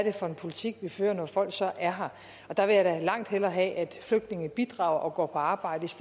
er for en politik vi fører når folk så er her og der vil jeg da langt hellere have at flygtninge bidrager og går på arbejde